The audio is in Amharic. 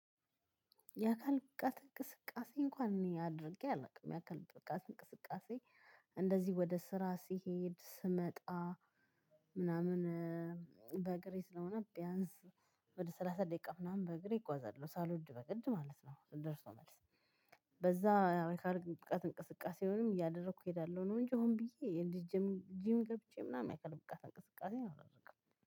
የአካል ብቃት እንቅስቃሴ እንኳን እኔ አድርጌ አላውቅም። የአካል ብቃት እንቅስቃሴ እንደዚህ ወደ ስራ ሲሄድ ስመጣ ምናምን በእግሬ ስለሆነ ቢያንስ ወደ ሰላሳ ደቂቃ ምናምን በእግሬ እግዋዛለሁ ሳልወድ በግድ ማለት ነው ደርሶ መልስ። በዛ የአካል ብቃት እንቅስቃሴውንም እያደረኩ እሄዳለሁ ነው እንጂ ሆን ብዬ የጅም ጂም ገብቼ ምናምን ያካል ብቃት እንቅስቃሴ አላደርግም።